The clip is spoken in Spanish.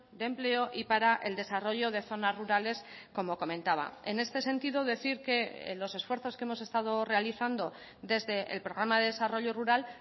de empleo y para el desarrollo de zonas rurales como comentaba en este sentido decir que los esfuerzos que hemos estado realizando desde el programa de desarrollo rural